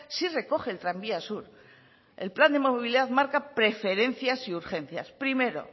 sí recoge el tranvía sur el plan de movilidad marca preferencias y urgencias primero